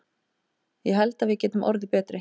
Ég held að við getum orðið betri.